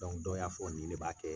dɔ y'a fɔ ni ne b'a kɛ